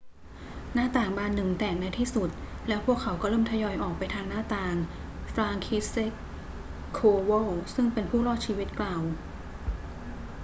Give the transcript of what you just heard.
หน้าต่างบานหนึ่งแตกในที่สุด แล้วพวกเขาก็เริ่มทยอยออกไปทางหน้าต่าง franciszek kowal ซึ่งเป็นผู้รอดชีวิตกล่าว